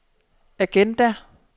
agenda